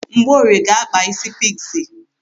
Mgborie ga-akpa isi pikzi.